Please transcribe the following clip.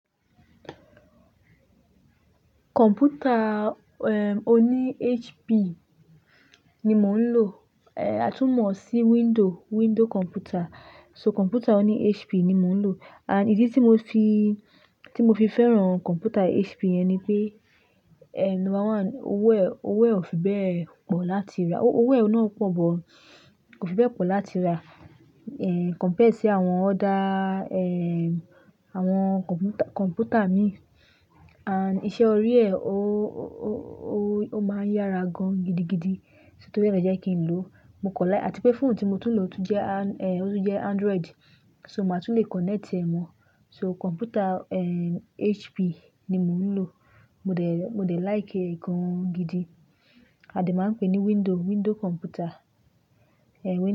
Kọ̀mpútà, eh, oní HP ni mò ń lò, eh, a tún mọ̀ ọ́ sí window, window kọ̀mpútà. So kọ̀mpútà oní HP ni mò ń lò. And ìdí tí mo fi, tí mo fi fẹ́ràn kọ̀mpútà HP yẹn ni pé, eh, number one, owó ẹ̀, owó ẹ̀ ò fi bẹ́ẹ̀ pọ̀ láti rà. Owó owó ẹ̀ náà pọ̀ bọ̀, kò fi bẹ́ẹ̀ pọ̀ láti rà, eh, compare sí àwọn ọ̀dà, eh, àwọn kọ̀mpútà, kọ̀mpútà mín. And iṣẹ́ orí ẹ, ó, ó, ó, ó, ó máa ń yára gan gidi gidi. Tóri ẹ lo jẹ́ kí n lò, mo kọ láì, àti pé fóònù tí mo tún ń lò tún jẹ́ an- eh, ó tún jẹ́ Android. So màá tún lè connect ẹ mọ. So kọ̀mpútà, eh, HP ni mò ń lò. Mo dè, mo dè like ẹ̀ gan gidi. A de máa ń pè é ní window, window kọ̀mpútà. Eh, window.